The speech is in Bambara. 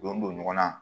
Don don ɲɔgɔn na